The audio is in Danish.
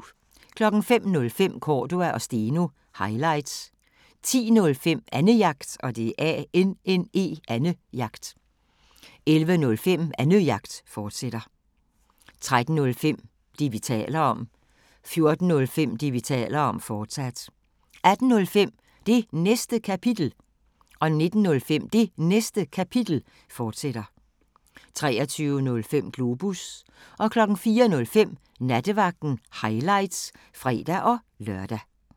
05:05: Cordua & Steno – highlights 10:05: Annejagt 11:05: Annejagt, fortsat 13:05: Det, vi taler om 14:05: Det, vi taler om, fortsat 18:05: Det Næste Kapitel 19:05: Det Næste Kapitel, fortsat 23:05: Globus 04:05: Nattevagten – highlights (fre-lør)